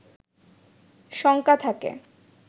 শঙ্কা থাকে